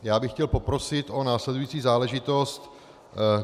Já bych chtěl poprosit o následující záležitost.